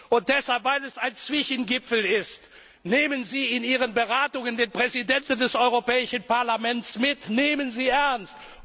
Parlament! Und weil es ein Zwischengipfel ist, nehmen Sie in Ihre Beratungen den Präsidenten des Europäischen Parlaments mit, nehmen Sie